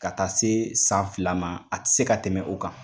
Ka taa se san fila ma a tɛ se ka tɛmɛ o kan.